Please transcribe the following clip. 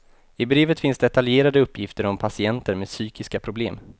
I brevet finns detaljerade uppgifter om patienter med psykiska problem.